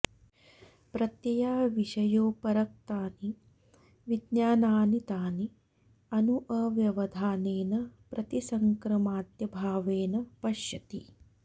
प्रत्यया विषयोपरक्तानि विज्ञानानि तानि अनु अव्यवधानेन प्रतिसंक्रमाद्यभावेन पश्यति